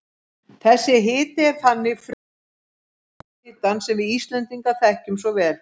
Þessi hiti er þannig frumorsök jarðhitans sem við Íslendingar þekkjum svo vel.